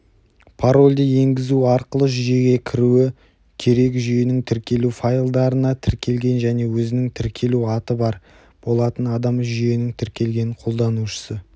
парольді енгізу арқылы жүйеге кіруі керекжүйенің тіркелу файлдарына тіркелген және өзінің тіркелу аты бар болатын адам жүйенің тіркелген қолданушысы